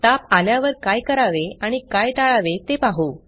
ताप आल्यावर काय करावे आणि काय टाळावे ते पाहू